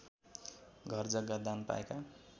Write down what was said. घरजग्गा दान पाएका